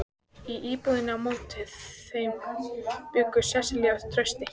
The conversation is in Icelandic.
Í íbúðinni á móti þeim bjuggu Sesselía og Trausti.